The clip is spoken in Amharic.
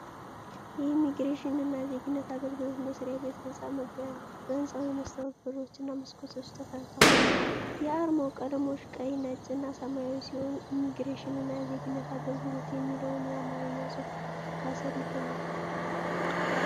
የኢሚግሬሽን እና ዜግነት አገልግሎት መሥሪያ ቤት ህንጻ መግቢያ ነው። በህንጻው የመስታዎት በሮችና መስኮቶች ተሰርተዋል። የአርማው ቀለሞች ቀይ፣ ነጭ እና ሰማያዊ ሲሆኑ፣ "ኢሚግሬሽን እና ዜግነት አገልግሎት" የሚለው የአማርኛ ጽሑፍ ከሥር ይገኛል።